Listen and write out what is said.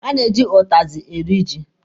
A na-eji ụtazị eri ji.